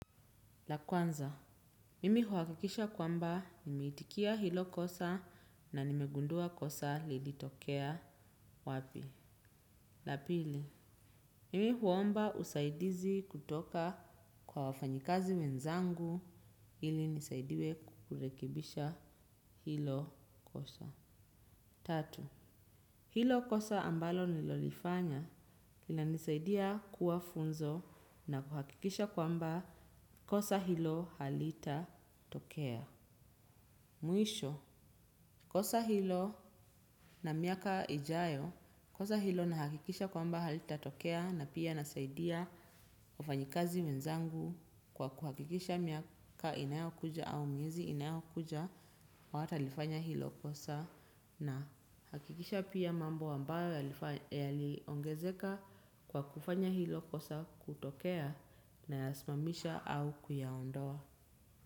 La kwanza mimi huhakikisha kwamba nimeitikia hilo kosa na nimegundua kosa lili tokea wapi. La pili mimi huomba usaidizi kutoka kwa wafanyikazi wenzangu ili nisaidiwe kurekibisha hilo kosa. Tatu hilo kosa ambalo nimelifanya linanisaidia kuwa funzo na kuhakikisha kwamba kosa hilo halita tokea. Mwisho kosa hilo na miaka ijayo kosa hilo nahakikisha kwamba halita tokea na pia nasaidia wafanyikazi wenzangu kwa kuhakikisha miaka inayo kuja au miezi inayo kuja hawata lifanya hilo kosa na hakikisha pia mambo ambayo yaliongezeka kwa kufanya hilo kosa kutokea nayasimamisha au kuyaondoa.